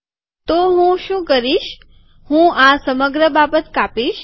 તો હું શું કરીશ કે હું આ સમગ્ર બાબત કાપીશ